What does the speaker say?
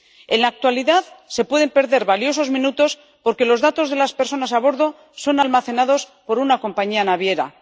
En la actualidad se pueden perder valiosos minutos, porque los datos de las personas a bordo son almacenados por una compañía naviera.